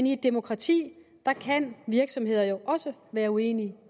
i et demokrati kan virksomheder jo også være uenige